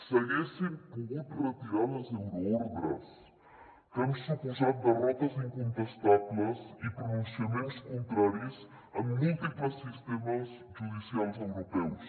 s’haguessin pogut retirar les euroordres que han suposat derrotes incontestables i pronunciaments contraris en múltiples sistemes judicials europeus